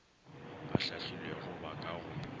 ba hlahlilwego ba ka go